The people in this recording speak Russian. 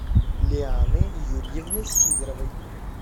лианы юрьевны сидоровой